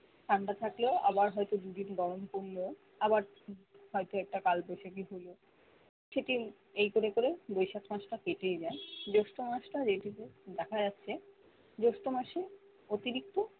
ঠান্ডা থাকলেও আবার হয়তো দু দিন গরম পড়লো আবার হয়তো একটা কাল বৈশাখী হলো সেটি এই করে করে বৈশাখ মাস তা কেটেই যায় জ্যৈষ্ঠ মাস তা যে টুকু দেখা যাচ্ছে জোষ্ঠ মাসে অতিরিক্ত